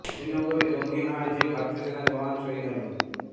শ্রীনগরে জঙ্গি হানায় যে ভারতীয় সেনা জাওয়ান শহিদ হলেন